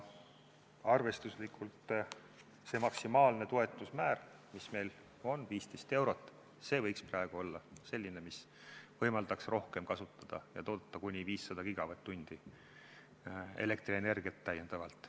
Arvestuslikult võiks see maksimaalne toetuse määr, mis meil on, 15 eurot, praegu olla selline, mis võimaldaks rohkem seda kasutada ja toota Eesti Energial kuni 500 gigavatt-tundi elektrienergiat täiendavalt.